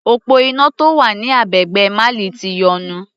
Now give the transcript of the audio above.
Òpó iná tó wà ní agbègbè Mali ti yọnu.